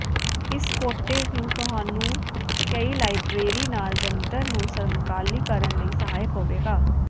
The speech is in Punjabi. ਇਸ ਕੋਟੇ ਨੂੰ ਤੁਹਾਨੂੰ ਕਈ ਲਾਇਬਰੇਰੀ ਨਾਲ ਜੰਤਰ ਨੂੰ ਸਮਕਾਲੀ ਕਰਨ ਲਈ ਸਹਾਇਕ ਹੋਵੇਗਾ